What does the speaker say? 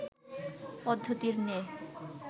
পদ্ধতির ন্যায়